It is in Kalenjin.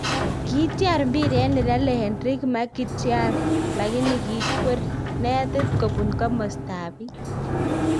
Kityar mpiret nelale Henrik Mkhitaryan lakini kikwer netit kobun komasta ab bi